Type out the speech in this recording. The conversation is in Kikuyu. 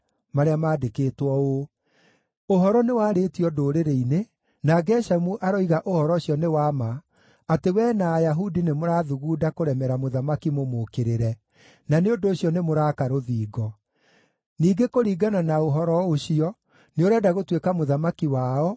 marĩa maandĩkĩtwo ũũ: “Ũhoro nĩwarĩtio ndũrĩrĩ-inĩ, na Geshemu aroiga ũhoro ũcio nĩ wa ma, atĩ wee na Ayahudi nĩmũrathugunda kũremera mũthamaki mũmũũkĩrĩre, na nĩ ũndũ ũcio nĩmũraaka rũthingo. Ningĩ kũringana na ũhoro ũcio nĩũrenda gũtuĩka mũthamaki wao